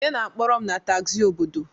Onye na-akpọrọ m tagzi obodo?